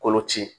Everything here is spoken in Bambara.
Koloci